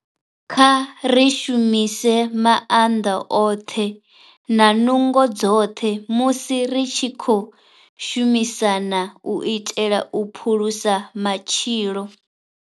Kha ri shumise maanḓa oṱhe na nungo dzoṱhe musi ri tshi khou shumisana u itela u phulusa matshilo.